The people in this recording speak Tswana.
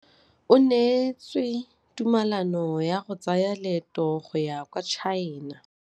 O neetswe tumalanô ya go tsaya loetô la go ya kwa China.